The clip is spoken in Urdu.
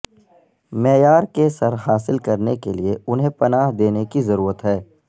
معیار کے سر حاصل کرنے کے لئے انہیں پناہ دینے کی ضرورت ہے